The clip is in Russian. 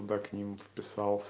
так не мвд